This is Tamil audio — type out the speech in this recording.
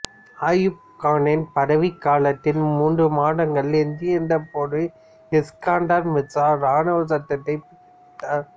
அயூப் கானின் பதவிக் காலத்தில் மூன்று மாதங்களே எஞ்சியிருந்தபோது இஸ்கந்தர் மிர்சா இராணுவச் சட்டத்தைப் பிறப்பித்தார்